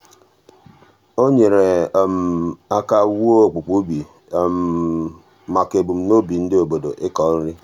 o nyere um aka wuo okpukpu ubi maka ebunuche ndị obodo ịkọ nri.